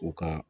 U ka